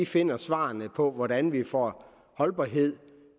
finde svarene på hvordan vi får holdbarhed